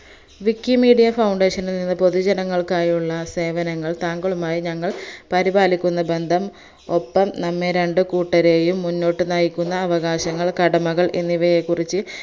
wikimedia foundation നിൽ നിന്ന് പൊതുജനങ്ങൾക്കായുള്ള സേവനങ്ങൾ താങ്കളുമായി ഞങ്ങൾ പരിപാലിക്കുന്ന ബന്ധം ഒപ്പം നമ്മെയ് രണ്ട് കൂട്ടരെയും മുന്നോട്ട് നയിക്കുന്ന അവകാശങ്ങൾ കടമകൾ എന്നിവയെകുറിച്